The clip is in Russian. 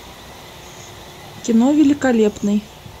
кино великолепный